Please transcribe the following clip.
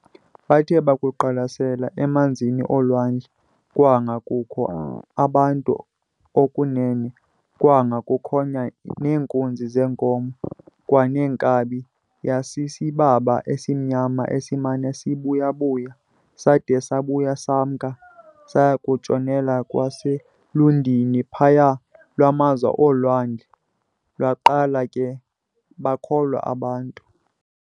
Bathe bakuqwalasela emanzin'olwandle, kwanga kukho abantu okunene, kwanga kukhonya neenkunzi zeenkomo, kwaneenkabi, yasisibaba esimnyama esimana sibuyabuya sada sabuya semka, saya kutshonela kwaselundini phaya lwamaza olwandle, baqala ke bakholwa bonke abantu.